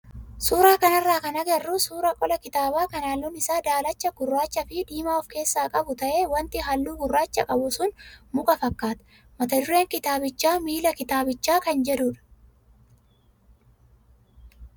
Suuraa kanarraa kan agarru suuraa qola kitaabaa kan halluun isaa daalacha, gurraachaa fi diimaa of keessaa qabu ta'ee wanti halluu gurraacha qabu sun muka fakkaata. Mata dureen kitaabichaa "Miila Kitaabichaa" kan jedhudha.